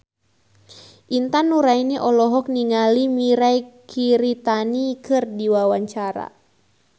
Intan Nuraini olohok ningali Mirei Kiritani keur diwawancara